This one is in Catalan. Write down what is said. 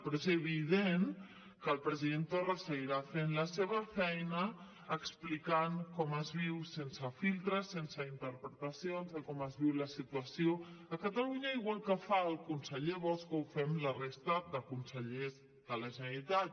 però és evident que el president torra seguirà fent la seva feina explicant com es viu sense filtres sense interpretacions de com es viu la situació a catalunya igual que fa el conseller bosch o fem la resta de consellers de la generalitat